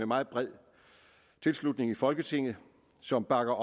meget bred tilslutning i folketinget som bakker